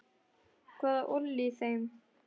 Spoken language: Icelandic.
Hvað olli þeim?